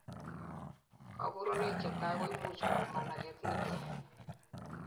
kaborunoik chetai koimuch kou managet nemie